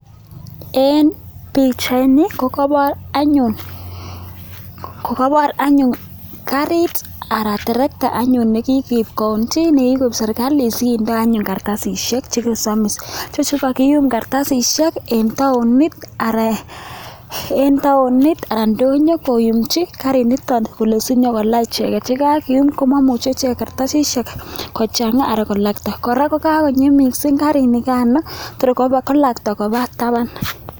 En bichait niton kokabar anyun karit anan terekta anyun nekikoib kaunti nikikoib serikalit sekende kartasishek chesomis ichechu kokakiyum kartasishek en taonit anan ndonyo koyumchin karit niton Kole sikonyor kola icheket ak anyun komaimuche kochanga kartasishek anan kolakta koraa yikakonyi mising nikano Kotor kolakta Koba taban